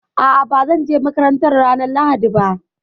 A'a, ba zan je makaranta ranar Lahadi ba